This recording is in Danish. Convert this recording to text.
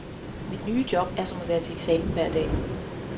Mit nye job er som at være til eksamen hver dag.